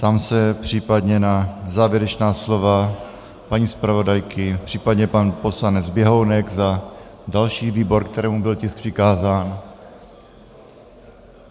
Ptám se případně na závěrečná slova paní zpravodajky, případně pan poslanec Běhounek za další výbor, kterému byl tisk přikázán?